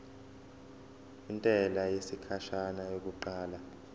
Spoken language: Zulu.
intela yesikhashana yokuqala